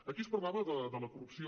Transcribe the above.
aquí es parlava de la corrupció